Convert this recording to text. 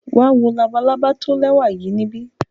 Wa wo labalaba lẹwa yii nibi.